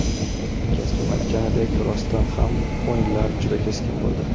Hamkasbim aytganidek, rostdan ham o‘yinlar juda keskin bo‘ldi.